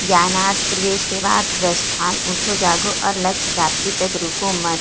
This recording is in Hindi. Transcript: ज्ञानार्थ प्रवेश सेवार्थ प्रस्थान उठो जागो और लक्ष्य प्राप्ति तक रुको मत --